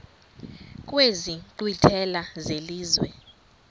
kwezi nkqwithela zelizwe